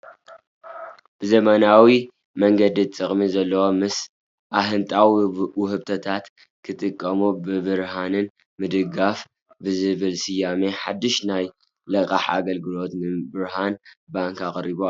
ብዘመናዊ መንገዲ ጥቅሚ ዘለዎ ምሰ ኣጎጊ ውህብቶታት ክጥቀሙ ብብርሃን ምድግጋፍ ብዝብል ስያሜ ሓዱሽ ናይ ልቃሕ ኣገልግሎት ንብርሃን ባንክ ኣቅሪቡ ኣሎ